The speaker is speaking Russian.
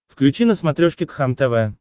включи на смотрешке кхлм тв